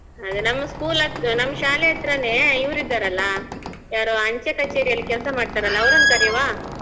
ಅದೇ ನಮ್ school ಅದ್ದು ನಮ್ ಶಾಲೆಹತ್ರನೆ ಇವ್ರು ಇದ್ದಾರಲ್ಲ ಯಾರು ಅಂಚೆ ಕಚೇರಿಯಲ್ಲಿ ಕೆಲಸ ಮಾಡ್ತಾರಲ್ಲಾ ಅವರನ್ನ್ ಕರಿಯುವ?